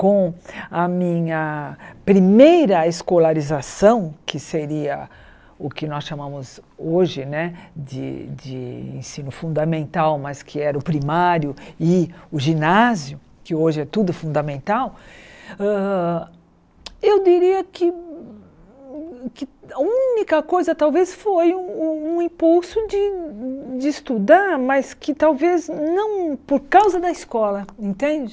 com a minha primeira escolarização, que seria o que nós chamamos hoje né de de ensino fundamental, mas que era o primário e o ginásio, que hoje é tudo fundamental hã, eu diria que que a única coisa talvez foi um impulso de de estudar, mas que talvez não por causa da escola, entende?